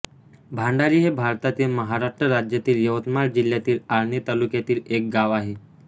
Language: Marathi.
भांडारी हे भारतातील महाराष्ट्र राज्यातील यवतमाळ जिल्ह्यातील आर्णी तालुक्यातील एक गाव आहे